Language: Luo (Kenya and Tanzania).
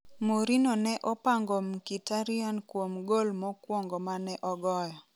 Mourinho ne opango Mkhitaryan kuom gol mokuongo mane ogoyo